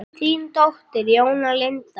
Þín dóttir, Jóna Lind.